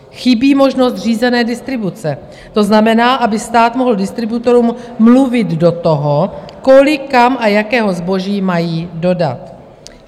Chybí možnost řízené distribuce, to znamená, aby stát mohl distributorům mluvit do toho, kolik, kam a jakého zboží mají dodat.